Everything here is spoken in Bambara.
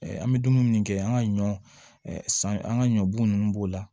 an bɛ dumuni minnu kɛ an ka ɲɔ san an ka ɲɔ bun nunnu b'o la